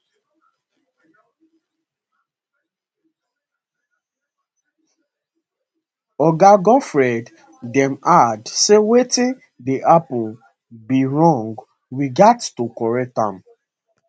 oga godfred dame add say wetin dey happun be wrong we gatz to correct am